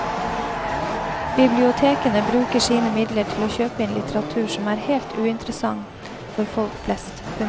Bibliotekene bruker sine midler til å kjøpe inn litteratur som er helt uinteressant for folk flest. punktum